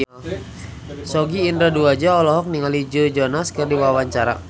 Sogi Indra Duaja olohok ningali Joe Jonas keur diwawancara